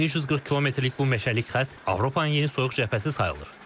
1340 kilometrlik bu meşəlik xətt Avropanın yeni soyuq cəbhəsi sayılır.